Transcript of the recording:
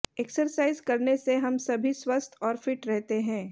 exercise करने से हम सभी स्वस्थ और फिट रहते हैं